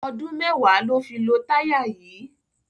Ọdun mẹwa lo fi lo taya yi